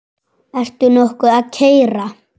Ertu nokkuð að keyra?